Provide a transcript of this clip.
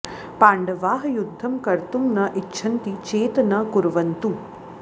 पाण्डवाः युध्दं कर्तुं न इच्छन्ति चेत न कुर्वन्तु